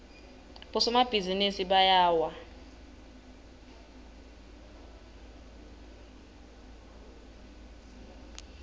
bosomabhizinisi bayawa